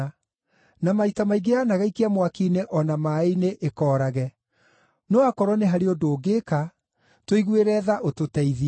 Na maita maingĩ yanagaikia mwaki-inĩ o na maaĩ-inĩ ĩkoorage. No akorwo nĩ harĩ ũndũ ũngĩka, tũiguĩre tha ũtũteithie.”